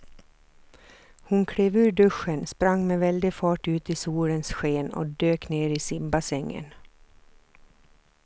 Hon klev ur duschen, sprang med väldig fart ut i solens sken och dök ner i simbassängen.